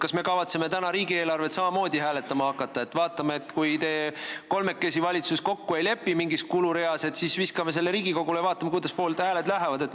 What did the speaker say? Kas me kavatseme täna riigieelarvet samamoodi hääletama hakata, et kui te kolmekesi valitsuses mingis kulureas kokku ei lepi, siis viskate selle Riigikogule ja vaatate, kuidas hääletamine läheb?